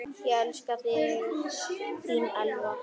Ég elska þig, þín Elva.